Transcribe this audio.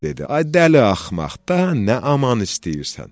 dedi: Ay dəli axmaq, daha nə aman istəyirsən?